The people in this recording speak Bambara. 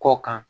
Kɔ kan